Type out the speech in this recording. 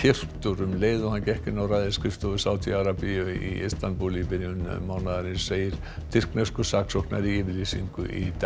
um leið og hann gekk inn á ræðisskrifstofu Sádi Arabíu í Istanbúl í byrjun mánaðarins segir tyrkneskur saksóknari í yfirlýsingu í dag